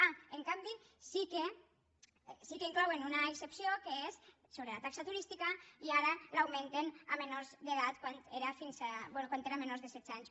ah en canvi sí que inclouen una excepció que és sobre la taxa turística i ara l’augmenten a menors d’edat quan era a menors de setze anys